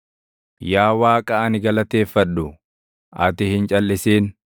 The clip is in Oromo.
Yaa Waaqa ani galateeffadhu ati hin calʼisin;